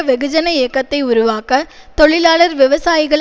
வெகுஜன இயக்கத்தை உருவாக்க தொழிலாளர்விவசாயிகள்